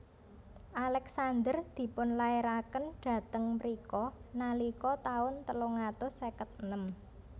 Alexander dipun lairaken dhateng mrika nalika taun telung atus seket enem